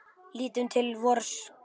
Lítum til vors lands.